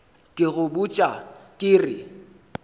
ke go botša ke re